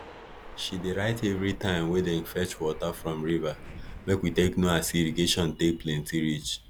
she dey write evri time wey dem fetch water from river make we take know as irrigation take plenti reach